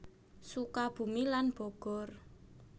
Sukabumi lan Bogor